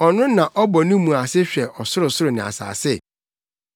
ɔno na ɔbɔ ne mu ase hwɛ ɔsorosoro ne asase?